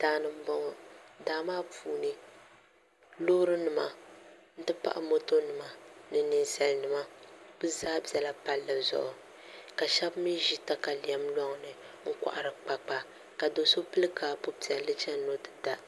Daani n boŋo daa maa puuni Loori nima n ti pahi moto nima ni ninsal nima bi zaa ʒɛla palli zuɣu ka shab mii ʒi katalɛm loŋni n kohari kpakpa ka do so pili kaapu piɛlli n chɛni ni o ti da